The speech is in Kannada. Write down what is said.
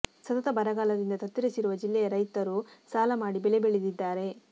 ಸತತ ಬರಗಾಲದಿಂದ ತತ್ತರಿಸಿರುವ ಜಿಲ್ಲೆಯ ರೈತರು ಸಾಲ ಮಾಡಿ ಬೆಳೆ ಬೆಳೆದಿದ್ದಾರೆ